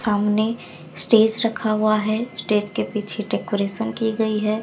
सामने स्टेज रखा हुआ है स्टेज के पीछे डेकोरेशन की गई है।